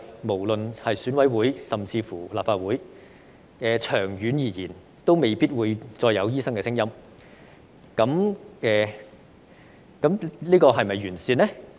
無論是選委會以至是立法會，長遠而言，都未必會再有醫生的聲音，這樣是否"完善"呢？